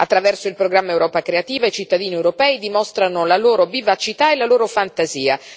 Attraverso il programma Europa creativa, i cittadini europei dimostrano la loro vivacità e la loro fantasia.